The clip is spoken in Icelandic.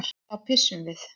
Þá pissum við.